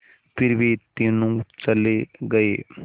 फिर वे तीनों चले गए